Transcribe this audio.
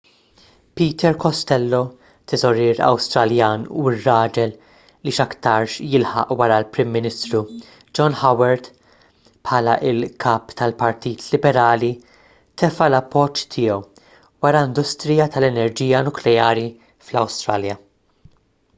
peter costello teżorier awstraljan u r-raġel li x'aktarx jilħaq wara l-prim ministru john howard bħala l-kap tal-partit liberali tefa' l-appoġġ tiegħu wara industrija tal-enerġija nukleari fl-awstralja